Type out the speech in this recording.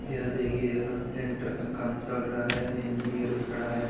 यह देखिए यहाँ टेंडर का काम चल रहा है इंजीनियर भी खड़ा है।